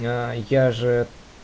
ээ я же